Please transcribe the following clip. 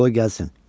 Qoy gəlsin!